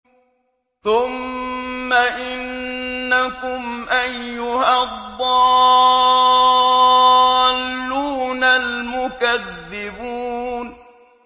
ثُمَّ إِنَّكُمْ أَيُّهَا الضَّالُّونَ الْمُكَذِّبُونَ